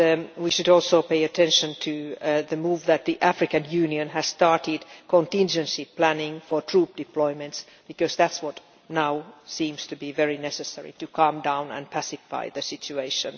We should also pay attention to the fact that the African Union has started contingency planning for troop deployments, because that is what now seems to be very necessary to calm down and pacify the situation.